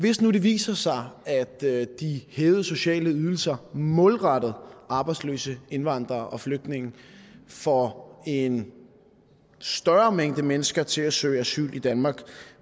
hvis nu det viser sig at de hævede sociale ydelser målrettet arbejdsløse indvandrere og flygtninge får en større mængde mennesker til at søge asyl i danmark